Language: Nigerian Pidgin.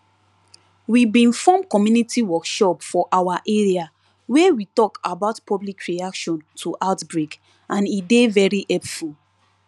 we bin form community workshop for our area wey we talk about public reaction to outbreak and e dey very helpful